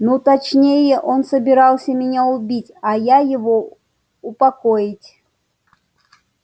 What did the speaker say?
ну точнее он собирался меня убить а я его упокоить